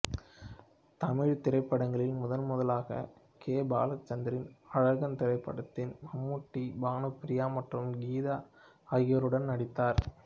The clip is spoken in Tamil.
தமிழ் திரைபடங்களில் முதன்முதலாக கே பாலச்சந்தரின் அழகன் திரைப்படத்தில் மம்முட்டி பானுப்பிரியா மற்றும் கீதா ஆகியோருடன் நடித்தார்